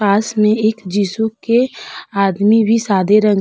पास में एक जिसु के आदमी भी सादे रंग --